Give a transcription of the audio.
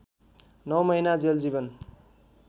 नौ महिना जेल जीवन